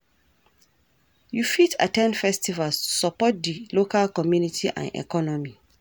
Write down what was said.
You fit at ten d festivals to support di local community and economy.